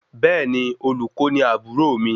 Bẹẹni, Olùkó ni aburo mi